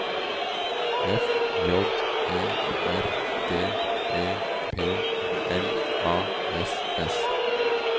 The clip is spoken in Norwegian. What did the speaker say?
F J E R D E P L A S S